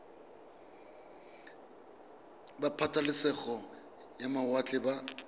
ba pabalesego ya mawatle ba